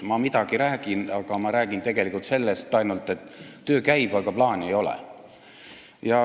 Ma midagi räägin, aga ma räägin tegelikult ainult sellest, et töö käib, aga plaani ei ole.